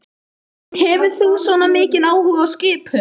Hefur þú svona mikinn áhuga á skipum?